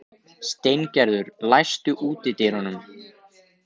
Steingerður, læstu útidyrunum.